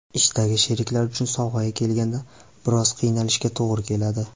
Ishdagi sheriklar uchun sovg‘aga kelganda, biroz qiynalishga to‘g‘ri keladi.